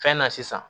Fɛn na sisan